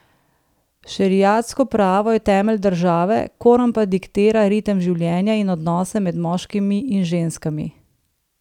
Šeriatsko pravo je temelj države, Koran pa diktira ritem življenja in odnose med moškimi in ženskami.